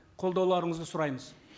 қолдауларыңызды сұраймыз